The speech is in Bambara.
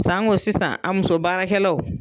Sango sisan a muso baarakɛlaw.